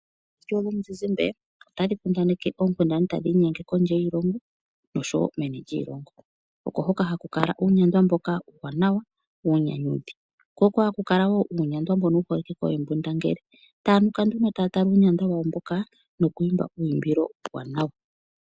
Orandio yomuzizimbe otayi kundaneke oonkundana tadhizi kondje yiilongo oshowo meni lyiilongo ,oko hoka haku kala ,ko oko haku kala woo uunyandwa mbono wu holike koohembundangele taya kala nduno taya tala uunyandwa wawo mboka noku imba uuyumbilo uuwanawa.